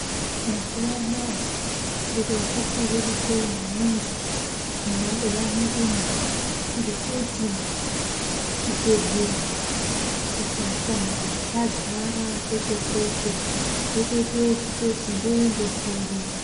Mazuwa anaya zviro zvati rerukei maningi mumabuya mwedumwo ngekuti zvibhedhlera zvipatara zvadzara kweshe kweshe wotoite ekutoti ndoende kuri.